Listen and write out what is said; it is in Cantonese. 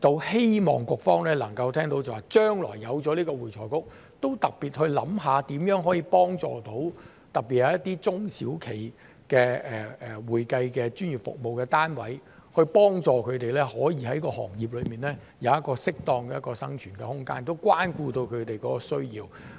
希望局方能夠聽到，將來有了會財局，都特別去想想如何可以幫助特別是一些中小企的會計專業服務單位，幫助他們可以在行業內有一個適當的生存空間，關顧到他們的需要。